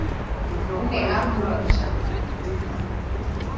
o ne a mo ja